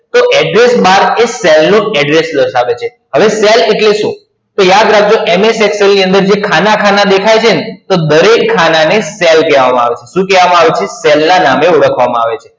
તો Address Bar એ cell નું Address દર્શાવે છે. હવે cell એટલે શું? તો યાદ રાખજો MS Excel ની અંદર જે ખાના ખાના દેખાય છે ને, તો દરેક ખાના ને cell કહેવા માં આવે છે. શું કહેવામા આવે છે? cell ના નામે ઓળખવામાં આવે છે.